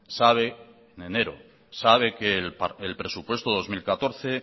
sabe que el presupuesto dos mil catorce